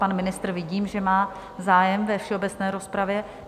Pan ministr vidím, že má zájem ve všeobecné rozpravě.